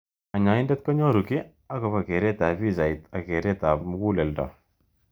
Kanyoindet konyoru ki akobo keret ab pichait ak keret ab mukuleldo.